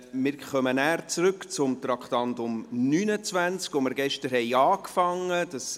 Wir kommen nachher zurück zum Traktandum 29, dessen Behandlung wir gestern begonnen haben.